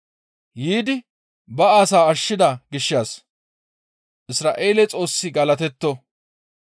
«Yiidi ba asaa ashshida gishshas Isra7eele Xoossi galatetto.